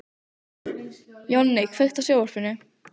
Jonni, kveiktu á sjónvarpinu.